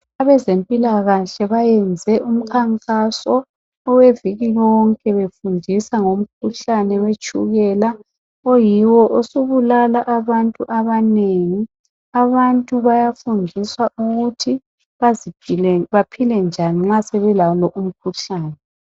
Abezempilakahle bayenze umkhankaso oweviki lonke befundisa ngomkhuhlane wetshukela oyiwo osubulala abantu abanengi, abantu bayafundiswa ukuthi baphile njani nxa sebelawo lo umkhuhlane.